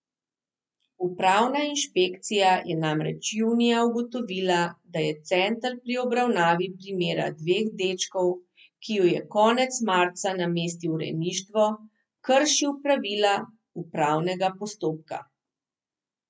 Upravna inšpekcija je namreč junija ugotovila, da je center pri obravnavi primera dveh dečkov, ki ju je konec marca namestil v rejništvo, kršil pravila upravnega postopka.